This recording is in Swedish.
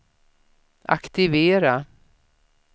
aktivera